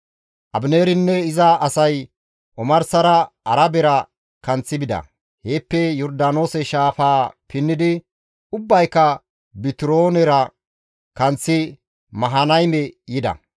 Abineerinne iza asay omarsara Arabera kanththi bida; heeppe Yordaanoose shaafaa pinnidi ubbayka Bitiroonera kanththi Mahanayme yida.